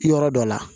Yɔrɔ dɔ la